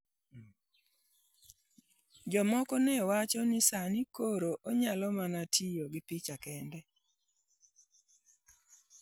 Jomoko ne wacho ni sani koro onyalo mana tiyo gi pi kende.